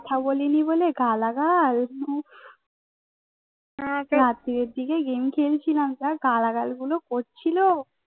কথা বলিনি বলে গালাগাল রাত্রের দিকে গেম খেলছিলাম যা গালাগাল গুলো করছিল